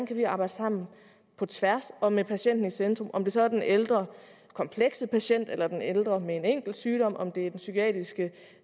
kan arbejde sammen på tværs og med patienten i centrum om det så er den ældre komplekse patient eller den ældre med en enkelt sygdom om det er den psykiatriske